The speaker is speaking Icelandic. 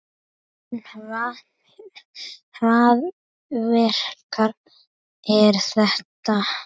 En hvaða verk er þetta?